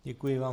Děkuji vám.